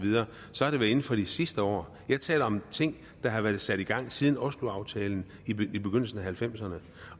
så er det vel inden for de sidste år jeg taler om ting der har været sat i gang siden osloaftalen i begyndelsen af nitten halvfemserne